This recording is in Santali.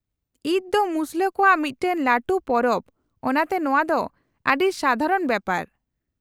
-ᱤᱫ ᱛᱚ ᱢᱩᱥᱞᱟᱹ ᱠᱚᱣᱟᱜ ᱢᱤᱫᱴᱟᱝ ᱞᱟᱹᱴᱩ ᱯᱚᱨᱚᱵᱽ ᱚᱱᱟᱛᱮ ᱱᱚᱶᱟ ᱫᱚ ᱟᱹᱰᱤ ᱥᱟᱫᱷᱟᱨᱚᱱ ᱵᱮᱯᱟᱨ ᱾